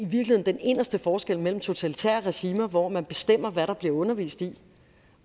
den inderste forskel mellem totalitære regimer hvor man bestemmer hvad der bliver undervist i